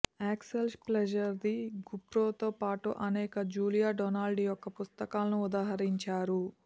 Axel Scheffler the గుప్రోతో పాటు అనేక జూలియా డొనాల్డ్ యొక్క పుస్తకాలను ఉదహరించారు